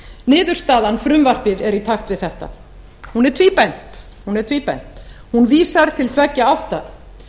niðurstaðan frumvarpið er í takt við þetta hún er tvíbent hún vísar til tveggja átta